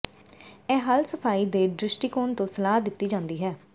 ਇਹ ਹੱਲ ਸਫਾਈ ਦੇ ਦ੍ਰਿਸ਼ਟੀਕੋਣ ਤੋਂ ਸਲਾਹ ਦਿੱਤੀ ਜਾਂਦੀ ਹੈ